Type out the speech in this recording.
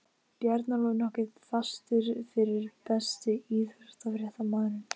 Bjarnólfur nokkuð fastur fyrir Besti íþróttafréttamaðurinn?